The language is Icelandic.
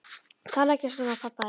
Talaðu ekki svona um hann pabba þinn.